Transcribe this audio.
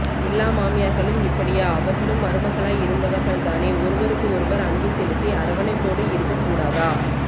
எல்லா மாமியார்களும் இப்படியா அவர்களும் மருமகளாய் இருந்தவர்கள் தானே ஒருவருக்குஒருவர் அன்பு செலுத்தி அரவணைப்போடுஇருக்கக் கூடாதா